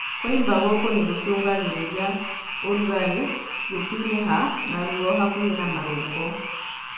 Kũimba gũkũ nĩ gũcũngagĩrĩria ũrugarĩ, gũtunĩha, na ruo hakuhĩ na marũngo